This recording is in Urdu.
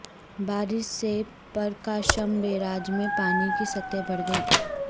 بارش سے پرکاشم بیراج میں پانی کی سطح بڑھ گئی